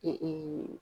Ee